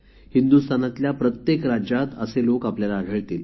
हिन्दुस्तानातल्या प्रत्येक राज्यात असे लोक आपल्याला आढळतील